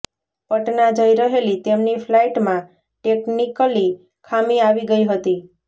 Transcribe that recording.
પટના જઈ રહેલી તેમની ફ્લાઈટમાં ટેકનિકલી ખામી આવી ગઈ હતી